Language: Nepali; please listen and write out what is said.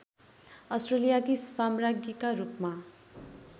अस्ट्रेलियाकी साम्राज्ञीका रूपमा